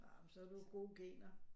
Nå men så har du jo gode gener